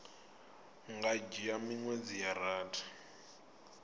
nga dzhia miṅwedzi ya rathi